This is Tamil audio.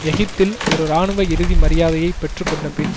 எகிப்தில் ஒரு இராணுவ இறுதி மரியாதையை பெற்று கொண்டபின்